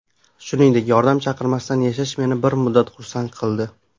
Shuningdek, yordam chaqirmasdan yashash meni bir muddat xursand qildi.